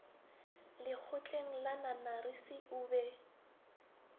lekgotleng la nanarisi o be